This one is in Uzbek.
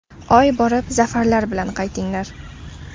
Oy borib, zafarlar bilan qaytinglar!